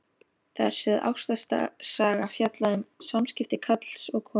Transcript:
Þar er sögð ástarsaga, fjallað um samskipti karls og konu.